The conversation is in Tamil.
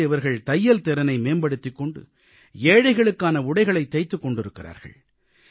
இன்று இவர்கள் தையல் திறனை மேம்படுத்திக் கொண்டு ஏழைகளுக்கான உடைகளைத் தைத்துக் கொண்டிருக்கிறார்கள்